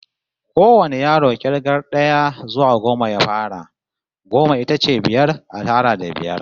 Kowane yaro k'irgar d'aya zuwa goma ya fara. Goma ita ce biyar a tara da biyar.